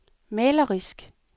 malerisk